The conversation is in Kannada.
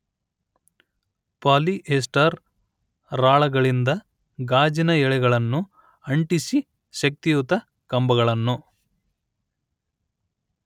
ಪಾಲಿ ಎಸ್ಟರ್ ರಾಳಗಳಿಂದ ಗಾಜಿನ ಎಳೆಗಳನ್ನು ಅಂಟಿಸಿ ಶಕ್ತಿಯುತ ಕಂಬಿಗಳನ್ನು